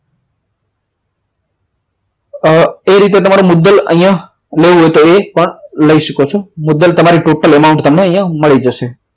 એ રીતે તમારો મુદ્દલ અહીંયા દેવું હોય તો એ પણ લઈ શકો છો મુદ્દલ તમારી total amount તમને મળી જશે